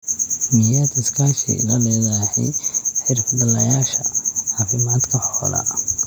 Miyaad iskaashi la leedahay xirfadlayaasha caafimaadka xoolaha?